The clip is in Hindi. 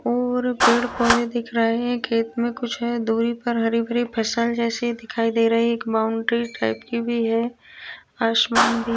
और पेड़ पौधे दिख रहे हैं खेत में कुछ है दूरी पर हरी भरी फसल जैसी दिखाई दे रही है एक बाउंड्री टाइप की भी है आसमान भी --